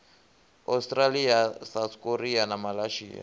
australia south korea na malaysia